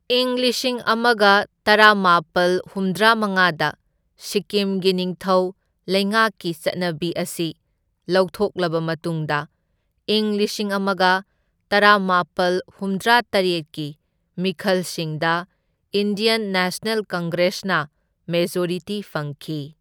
ꯏꯪ ꯂꯤꯁꯤꯡ ꯑꯃꯒ ꯇꯔꯥꯃꯥꯄꯜ ꯍꯨꯝꯗ꯭ꯔꯥꯃꯉꯥꯗ ꯁꯤꯛꯀꯤꯝꯒꯤ ꯅꯤꯡꯊꯧ ꯂꯩꯉꯥꯛꯀꯤ ꯆꯠꯅꯕꯤ ꯑꯁꯤ ꯂꯧꯊꯣꯛꯂꯕ ꯃꯇꯨꯡꯗ ꯏꯪ ꯂꯤꯁꯤꯡ ꯑꯃꯒ ꯇꯔꯥꯃꯥꯄꯜ ꯍꯨꯝꯗ꯭ꯔꯥ ꯇꯔꯦꯠꯀꯤ ꯃꯤꯈꯜꯁꯤꯡꯗ ꯏꯟꯗꯤꯌꯟ ꯅꯦꯁꯅꯦꯜ ꯀꯪꯒ꯭ꯔꯦꯁꯅ ꯃꯦꯖꯣꯔꯤꯇꯤ ꯐꯪꯈꯤ꯫